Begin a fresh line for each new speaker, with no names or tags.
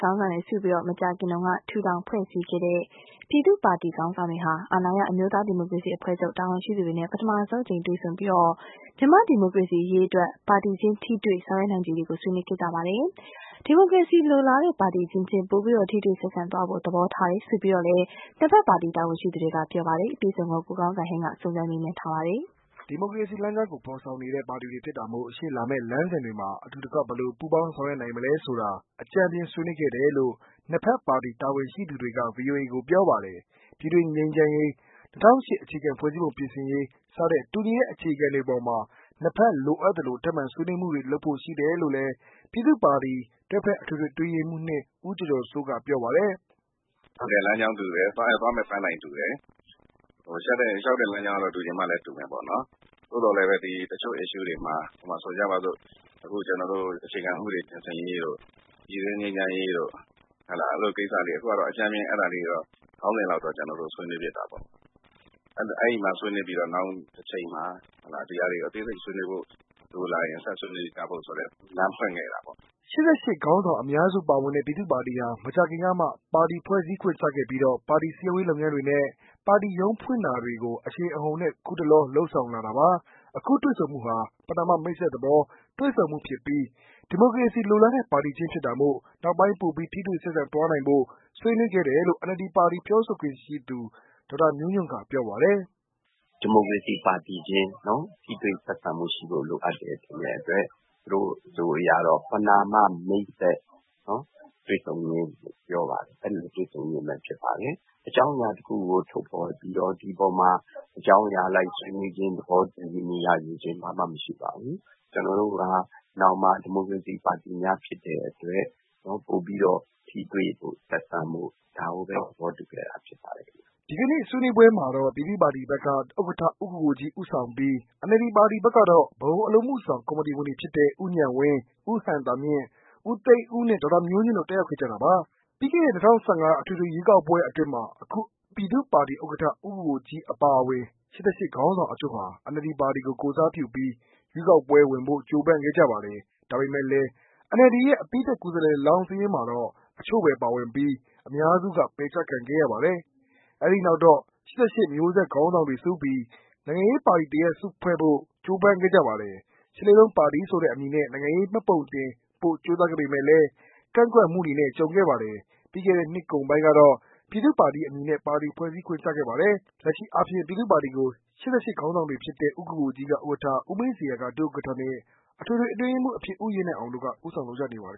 ခေါင်းဆောင်တွေစုပြီး မကြာခင်က ထူထောင်ဖွဲ့စည်းခဲ့တဲ့ ပြည်သူ့ပါတီ ခေါင်းဆောင်တွေဟာ အာဏာရ အမျိုးသားဒီမိုကရေစီအဖွဲ့ချုပ် တာဝန်ရှိသူတွေနဲ့ ပထမဆုံးအကြိမ် တွေ့ဆုံပြီး မြန်မာ့ ဒီမိုကရေစီရေး အတွက် ပါတီချင်းထိတွေ့ဆောင်ရွက်နိုင်ချေတွေကို ဆွေးနွေးခဲ့ကြပါတယ်။ ဒီမိုကရေစီလိုလားတဲ့ ပါတီအချင်းချင်း ပိုပြီး ထိတွေ့ဆက်ဆံသွားဖို့ သဘောထားတယ်လို့ နှစ်ဘက် ပါတီတာဝန်ရှိသူတွေက ပြောပါတယ်။ ကိုကောင်းစံဟိန်း စုံစမ်းမေးမြန်းထားတာပါ
။ ဒီမိုကရေစီလမ်းကြောင်းကို ဖော်ဆောင်နေတဲ့ ပါတီတွေဖြစ်တာမို့ ရှေ့လာမယ့်လမ်းစဉ်တွေမှာ အတူတကွ ဘယ်လို ပူးပေါင်းဆောင်ရွက်နိုင်မလဲဆိုတာ အကြမ်းဖျင်းဆွေးနွေးခဲ့တယ်လို့ နှစ်ဘက်ပါတီ တာဝန်ရှိသူတွေက ဗွီအိုအေကို ပြောပါတယ်။ ပြည်တွင်းငြိမ်းချမ်းရေး၊ ၂၀၀၈ အခြေခံဖွဲ့စည်းပုံပြင်ဆင်ရေး စတဲ့ တူညီတဲ့အခြေခံတွေအပေါ်မှာ နှစ်ဘက် လိုအပ်သလို ထပ်မံဆွေးနွေးမှုတွေလုပ်ဖို့ရှိတယ်လို့ ပြည်သူ့ပါတီ တွဲဖက်အထွေထွေအတွင်းရေးမှူး ဦးကျော်ကျော်စိုးက ပြောပါတယ်
။ "လမ်းကြောင်းတူတယ်။သွားမယ့် ပန်းတိုင်တူတယ်။ လျှောက်တဲ့ လမ်းကြောင်းကတော့ တူချင်မှလည်း တူမယ်ပေါ့နော်။သို့သော် တချို့ကိစ္စတွေမှာ ဆိုကြပါစို့ အခြေခံ ဥပဒေပြင်ဆင်ရေးတို့၊ပြည်တွင်းငြိမ်းချမ်းရေးတို့ ခေါင်းစဉ်လေးတွေတောပ အကြမ်းဖျဉ်း ဆွေးနွေးခဲ့တာပါ။နောင်တချိန်မှာ ဒါတွေကို ဆွေးနွေးဖို့ လိုလာရင် ဆက်ဆွေးနွေးဖို့ လမ်းဖွင့်ခဲ့ကြတာပေါ့"
၈၈ ခေါင်းဆောင်အများစုပါဝင်တဲ့ ပြည်သူ့ပါတီဟာ မကြာခင်ကမှ ပါတီဖွဲ့စည်းခွင့်ကျခဲ့ပြီးတော့ ပါတီစည်းရုံးရေးလုပ်ငန်းတွေနဲ့ ပါတီရုံးခွဲဖွင့်တာတွေကို အရှိန်အဟုန်နဲ့ အခုတလော လုပ်ဆောင်လာတာပါ။ အခု တွေ့ဆုံမှုဟာ ပဏာမမိတ်ဆက်သဘော တွေ့ဆုံမှုဖြစ်ပြီး၊ ဒီမိုကရေစီလိုလားတဲ့ ပါတီချင်းဖြစ်တာမို့ နောက်ပိုင်း ပိုပြီး ထိတွေ့ဆက်ဆံသွားဖို့ ဆွေးနွေးခဲ့တယ်လို့ NLD ပါတီ ပြောခွင့်ရသူ ဒေါက်တာမျိုးညွန့် က ပြောပါတယ်
။ "ဒီမိုကရေစီပါတီအချင်း ထိတွေ့ဆက်ဆံမှု ရှိဖို့လိုအပ်တယ်ဆိုတဲ့အတွက် သူတို့အဆိုအရတော့ မဏာမ မိတ်ဆက်တွေ့ဆုံခြင်းလို့ ပြောပါတယ်။အကြောင်းအရာတစ်ခုကို ထုတ်ဖော်ပြီးတော့ ဒီအပေါ်မှာ ထုတ်ဖော်ခြင်း၊သဘောတူခြင်း ဘာမှမရှိပါဘူး။ကျနော်တို့ဟာ နောင်မှာ ဒီမိုကရေစီပါတီများ ဖြစ်တဲ့အတွက် ပိုပြီးတော့ ထိတွေ့ ဆက်ဆံဖို့ ဒါကိုဘဲ သဘောတူခဲ့တာ ဖြစ်ပါတယ်
။" ဒီကနေ့ ဆွေးနွေးပွဲမှာတော့ ပြည်သူ့ပါတီဘက်က ဥက္ကဌ ဦးကိုကိုကြီး ဦးဆောင်ပြီး၊ NLD ဘက်ကတော့ ဗဟိုအလုပ်အမှုဆောင်ကော်မတီဝင်တွေဖြစ်တဲ့ ဦးဉာဏ်ဝင်း ဦးဟံသာမြင့် ဦးသိန်းဦးနဲ့ ဒေါက်တာမျိုးညွှန့်တို့ တတ်ရောက်ခဲ့ကြတာပါ။ ပြီးခဲ့တဲ့ ၂၀၁၅ အထွေထွေရွေးကောက်ပွဲအတွင်းမှာ အခုပြည်သူ့ပါတီဥက္ကဌ ဦးကိုကိုကြီးအပါအဝင် ၈၈ ခေါင်းဆောင်အချို့ဟာ NLD ပါတီကို ကိုယ်စားပြုပြီး ရွေးကောက်ပွဲဝင်ဖို့ ကြိုးပမ်းခဲ့ကြပါတယ်။ ဒါပေမယ့်လည်း NLD ရဲ့ အပြီးသတ် ကိုယ်စားလှယ်လောင်းစာရင်းမှာတော့ အချို့ဘဲပါပြီး၊ အများစုက ပယ်ချခံခဲ့ရပါတယ်။ အဲဒီနောက်တော့ ၈၈ မျိုးဆက်ကျောင်းသားခေါင်းဆောင်တွေ စုပြီး နိုင်ငံရေးပါတီတရပ်စုဖွဲ့ဖို့ ပြင်ဆင်ကြိုးပမ်းခဲ့ကြပါတယ်။ ရှစ်လေးလုံးပါတီဆိုတဲ့အမည်နဲ့ နိုင်ငံရေးပါတီမှတ်ပုံတင်ဖို့ကြိုးစားခဲ့ပေမယ့် ၊ ကန့်ကွက်မှုတွေနဲ့ ကြုံခဲ့ပါတယ်။ ပြီးခဲ့တဲ့နှစ်ကုန်ပိုင်းကတော့ ပြည်သူ့ပါတီအမည်နဲ့ ပါတီဖွဲ့စည်းခွင့်ကျခဲ့ပါတယ်။ လက်ရှိအားဖြင့် ပြည်သူ့ပါတီကို ၈၈ ခေါင်းဆောင်တွေဖြစ်တဲ့ ဦးကိုကိုကြီးက ဥက္ကဌ ဦးမင်းဇေယျက ဒုဥက္ကဌနဲ့ အထွေထွေအတွင်းရေးမှူးအဖြစ် ဦးရဲနိုင်အောင်တို့က ဦးဆောင်လှုပ်ရှားနေပါတယ်